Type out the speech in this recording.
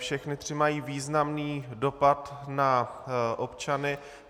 Všechny tři mají významný dopad na občany.